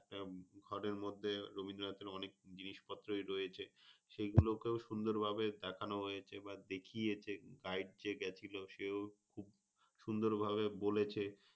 ঘরের মধ্যে রবীন্দ্রনাথের অনেক জিনিসপত্রই রয়েছে। সেগুলো কেও সুন্দর ভাবে দেখানো হয়েছে বা দেখিয়েছে guide যে গেছিল সেও খুব সুন্দর ভাবে বলেছে।